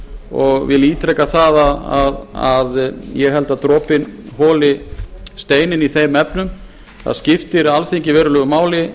og vil ítreka það að ég held að dropinn holi steininn í þeim efnum það skiptir alþingi verulegu máli